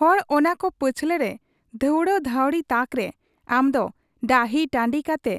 ᱦᱚᱲ ᱚᱱᱟᱠᱚ ᱯᱟᱹᱪᱷᱞᱟᱹᱨᱮ ᱫᱷᱟᱶᱬᱟ ᱫᱷᱟᱹᱶᱬᱤᱜ ᱛᱟᱠᱨᱮ ᱟᱢᱫᱚ ᱰᱟᱹᱦᱤ ᱴᱟᱺᱰᱤ ᱠᱟᱛᱮ